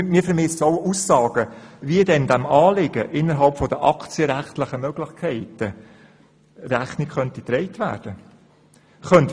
Wir vermissen auch Aussagen dazu, wie diesem Anliegen innerhalb der aktienrechtlichen Möglichkeiten Rechnung getragen werden könnte.